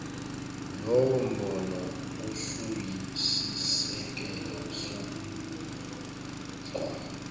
lowombono usuyisisekelo somgomo